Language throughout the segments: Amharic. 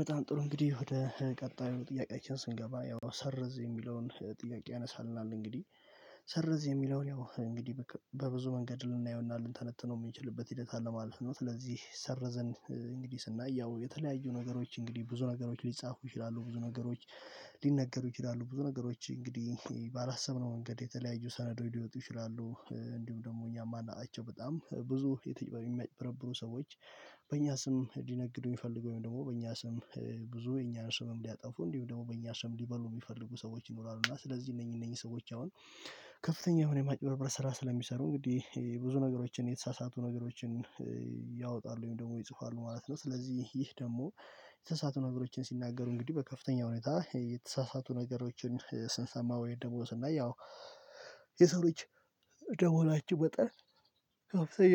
በጣም ጥሩ እንግዲህ ወደ ቀጣዩ ጥያቄዎችን ስንገባ ያው ሰርዝ የሚለውን ጥያቄ ያነሳልናል እንግዲህ ሰርዝ የሚለውን ያው እንግዲህ በብዙ መንገድ ልናየው እና ልንተነትነው የምንችልበት ሂደት አለማለት ነው። ስለዚህ ሰርዝ እንግዲህ ስናይ ያው የተለያዩ ነገሮች እንግዲህ ብዙ ነገሮች ሊጻፉ ይችላሉ ብዙ ነገሮች ሊነገሩ ይችላሉ ብዙ ነገሮች እንግዲህ ባላሰብነው መንገድ የተለያዩ ሰነዶች ሊወጡ ይችላሉ። እንዲሁም ደግሞ እኛ የማናቃቸው በጣም ብዙ የተጨበ የሚያጭበረብሩ ሰዎች በእኛ ስም ሊነግዱ የሚፈልጉ ወይም ደግሞ በእኛ ስም ብዙ የእኛን ስምም ሊያጠፉ እንዲሁ ደግሞ በእኛ ሰው ሊበሉ የሚፈልጉ ሰዎች ይኖራሉ። እና ስለዚህ እነኚህ እነኚህ ሰዎች አሁን ከፍተኛ የማጭበርበር ስራ ስለሚሰሩ እንግዲህ ብዙ ነገሮችን የተሳሳቱ ነገሮችን ያወጣሉ ደግሞ ይጽፋሉ ማለት ነው። ስለዚህ ይህ ደግሞ የተሳሳቱ ነገሮችን ሲናገሩ እንግዲህ በከፍተኛ ሁኔታ የተሳሳቱ ነገሮችን ስንሰማ ወይ ደግሞ ስናይ ያው የሰው ልጅ እንደመሆናችን ወጠን ከፍተኛ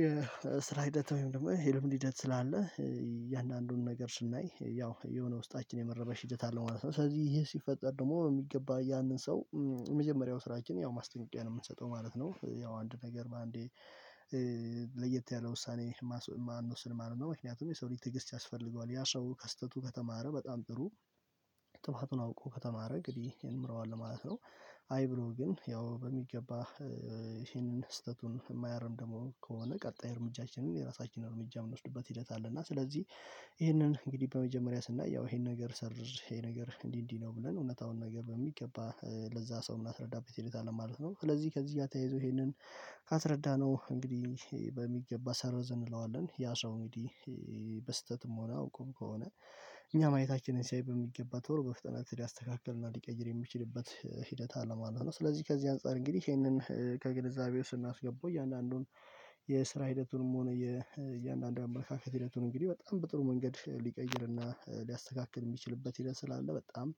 የስራ ሂደት ወይም ደግሞ የልምድ ሂደት ስላለ እያንዳንዱን ነገር ስናይ ያው የሆነ ውስጣችን የመረበሽ ሂደት አለው ማለት ነው። ስለዚህ ይሄ ሲፈጠር ደግሞ በሚገባ ያንን ሰው የመጀመሪያው ስራችን ያው ማስጠንቀቂያ ነው የምንሰጠው ማለት ነው። ያው አንድ ነገር በአንዴ ለየት ያለ ውሳኔ ማንወስንም ነው ምክንያቱም የሰው ልጅ ትግስት ያስፈልገዋል ያ ሰው ከስተቱ ከተማረ በጣም ጥሩ ጥፋቱን አውቆ ከተማረ እንግዲህ ይንምረዋል ማለት ነው። አይ ብሎ ግን ያው በሚገባ ይሄንን ስህተቱን የማያርም ደግሞ ከሆነ ቀጣይ እርምጃችንን የራሳችንን እርምጃ የምንወስድበት ሂደት አለ። እና ስለዚህ ይህንን እንግዲህ በመጀመሪያ ስናየው ይሄን ነገር ሰርዝ ይሄ ነገር እንዲህ እንዲህ ነው ብለን እውነታውን ነገር በሚገባ ለዛ ሰው ምን ምናስረዳበት ሂደት ማለት ነው። ስለዚህ ከዚህ እያተያይዞ ይሄንን ካስረዳነው እንግዲህ በሚገባ ሰርዘንዝ እንለዋለን ያ ሰው እንግዲህ በስህተትም ሆነ አውቆም ከሆነ እኛ ማየታችንን ሲያይ በሚገባ ቶሎ በፍጥነት ሊያስተካክልና ሊቀይር የሚችልበት ሂደት አለ ማለት ነው። ስለዚህ ከዚህ አንፃር እንግዲህ ይሄንን ከግንዛቤው ስናስገባው እያንዳንዱን የስራ ሂደቱንም ሆነ የእያንዳንዱ አመለካከት ሂደቱን እንግዲህ በጣም በጥሩ መንገድ ሊቀይርና ሊያስተካክል የሚችልበት ሄደት ስላለ በጣም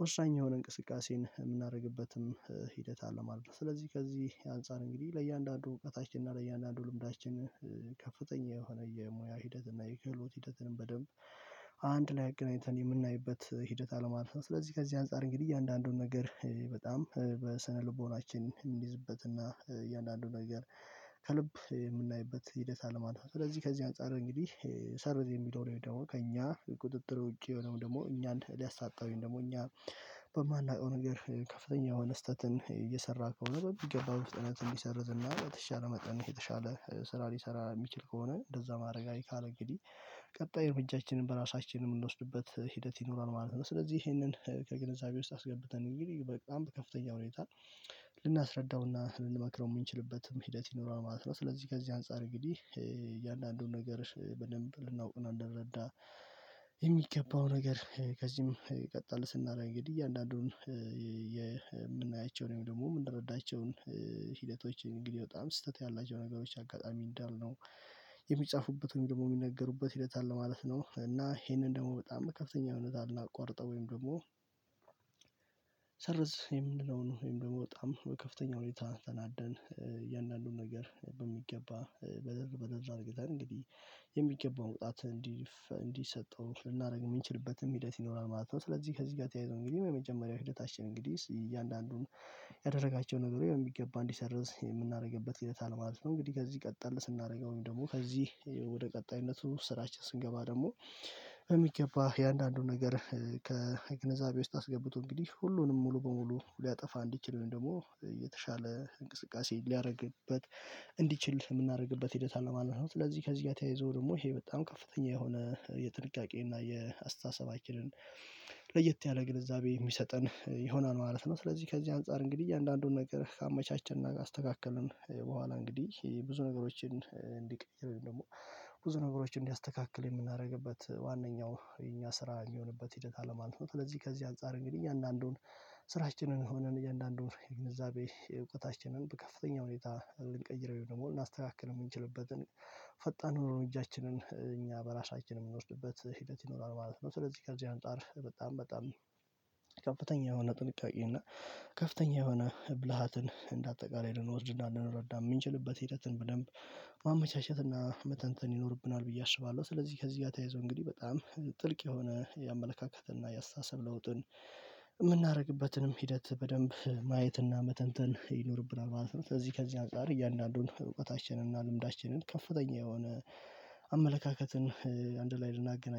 ወሳኝ የሆነ እንቅስቃሴን የምናደርግበትም ሂደት አለማለት ነው። ስለዚህ ከዚህ አንፃር እንግዲህ ለእያንዳንዱ እውቀታችን እና ለእያንዳንዱ ልምዳችን ከፍተኛ የሆነ የሙያ ሂደት እና የክህሎት ሂደትን በደንብ አንድ ላይ አግኝተን የምናይበት ሂደት አለማለት ነው። ስለዚህ ከዚህ አንፃር እንግዲህ እያንዳንዱን ነገር በጣም በስነልቦናችን የምንይዝበትና እያንዳንዱ ነገር ከልብ የምናይበት ሂደት አለማለት ነው። ስለዚህ ከዚህ አንፃር እንግዲህ ሰርዝ የሚለውን ወይም ደሞ ከእኛ ቁጥጥር ውጪ የሆነው ደግሞ እኛን ሊያሳጣ ወይም ደግሞ እኛ በማናውቀው ነገር ከፍተኛ የሆነ ስህተትን እየሰራ ከሆነ በሚገባ በፍጥነት እንዲሰርዝ እና በተሻለ መጠን የተሻለ ስራ ሊሰራ የሚችል ከሆነ እንደዛ ማድረግ አይካለ እንግዲህ ቀጣይ እርምጃችንን በራሳችን የምንወስድበት ሂደት ይኖራል ማለት ነው። ስለዚህ ይሄንን ከግንዛቤ ውስጥ አስገብተን እንግዲህ በጣም በከፍተኛ ሁኔታ ልናስረዳውና ልንመክረው የምንችልበትም ሂደት ይኖራል ማለት ነው። ስለዚህ ከዚህ አንፃር እንግዲህ እያንዳንዱን ነገር በደንብ ልናውቅና ልንደረዳ የሚገባው ነገር ከዚህም ቀጥል ስናደርግ እንግዲህ እያንዳንዱን የምናያቸው ወይም ደግሞ የምንረዳቸውን ሂደቶችን እንግዲህ በጣም ስህተት ያላቸው ነገሮች አጋጣሚ እንዳልነው የሚጻፉበትም ደግሞ የሚነገሩበት ሂደት አለ ማለት ነው። እና ይሄንን ደግሞ በጣም በከፍተኛ ሁኔታ ልናቋርጠው ወይም ደግሞ ሰርዝ የምንለው ወይም ደግሞ በጣም በከፍተኛ ሁኔታ ተናደን እያንዳንዱን ነገር በሚገባ መረር መረር አድርገን እንግዲህ የሚገባው ቅጣት እንዲሰጠው ልናደርግ የምንችልበትም ሂደት ይኖራል ማለት ነው። ስለዚህ ከዚህ ጋር ተያይዞ እንግዲህ የመጀመሪያው ሂደታችን እንግዲህ እያንዳንዱን ያደረጋቸው ነገሮይ በሚገባ እንዲሰርዝ የምናደርግበት ሂደት አለ ማለት ነው። እንግዲህ ከዚህ ቀጠል ስናደርገውም ደግሞ ከዚህ ወደ ቀጣይነቱ ስራችን ስንገባ ደግሞ በሚገባ የአንዳንዱን ነገር ከግንዛቤ ውስጥ አስገብቶ እንግዲህ ሁሉንም ሙሉ በሙሉ ሊያጠፋ እንዲችል ወይም ደግሞ የተሻለ እንቅስቃሴ ሊያደርግበት እንዲችል የምናደርግበት ሂደት አለማለት ነው። ስለዚህ ከዚህ ጋር ተያይዞ ደግሞ ይሄ በጣም ከፍተኛ የሆነ የጥንቃቄ እና የአስተሳሰባችንን ለየት ያለ ግንዛቤ የሚሰጠን ይሆናል ማለት ነው። ስለዚህ ከዚህ አንፃር እንግዲህ እያንዳንዱን ነገር ካመቻቸንና ካስተካከልን በኋላ እንግዲህ ብዙ ነገሮችን እንዲቀይር ወይም ደግሞ ብዙ ነገሮችን እንዲያስተካክል የምናደርግበት ዋነኛው የኛ ስራ የሚሆንበት ሂደት አለማለት ነው። ስለዚህ ከዚህ አንፃር እንግዲህ አንዳንዱን ስራችንን ሆነን እያንዳንዱን የግብዛቤ እውቀታችንን በከፍተኛ ሁኔታ ልንቀይረው ወይም ደግሞ ልናስተካክል የምንችልበትን ፈጣኑን እርምጃችንን እኛ በራሳችን የምንወስድበት ሂደት ይኖራል ማለት ነው። ስለዚህ ከዚህ አንፃር በጣም ከፍተኛ የሆነ ጥንቃቄ እና ከፍተኛ የሆነ ብልሃትን እንደ አጠቃላይ ልንወስድና ልንረዳ የምንችልበት ሂደትን በደንብ ማመቻቸት እና መተንተን ይኖርብናል ብዬ አስባለሁ። ስለዚህ ከዚህ ጋር ተያይዞ እንግዲህ በጣም ጥልቅ የሆነ የአመለካከትና የአስተሳሰብ ለውጥን የምናደርግበትንም ሂደት በደንብ ማየትና መተንተን ይኖርብናል ማለት ነው። ስለዚህ ከዚህ አንፃር እያንዳንዱን እውቀታችንን እና ልምዳችንን ከፍተኛ የሆነ አመለካከትን አንድ ላይ ልናገናኝ